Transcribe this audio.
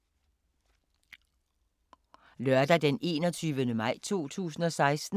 Lørdag d. 21. maj 2016